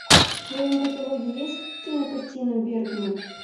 в твоем каталоге есть кинокартина бергман